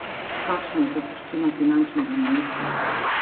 Kakšna je zapuščina finančnega ministra?